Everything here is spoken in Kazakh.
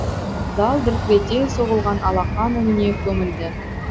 зал дүркірете соғылған алақан үніне көмілді